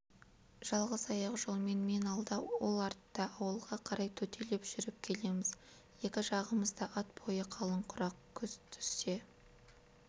жалғыз аяқ жолмен мен алда ол артта ауылға қарай төтелеп жүріп келеміз екі жағымызда ат бойы қалың құрақ күз түссе